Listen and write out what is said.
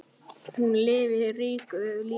Hún lifði ríku lífi.